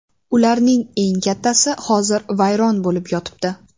Ularning eng kattasi hozir vayron bo‘lib yotibdi.